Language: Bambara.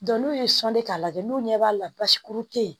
n'u ye sɔnni k'a lajɛ n'u ɲɛ b'a la basikuru tɛ ye